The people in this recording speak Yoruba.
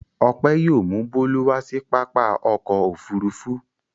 Ọpẹ́ yóò mú Bólú wá sí pápá ọkọ̀-òfurufú.